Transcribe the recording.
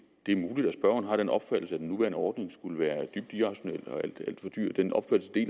det er muligt at spørgeren har den opfattelse at den nuværende ordning skulle være dybt irrationel